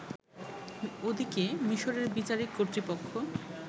ওদিকে, মিশরের বিচারিক কর্তৃপক্ষ